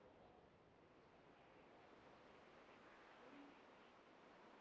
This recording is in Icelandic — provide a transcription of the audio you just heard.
Ég var með mörg tilboð frá Spáni og Ítalíu.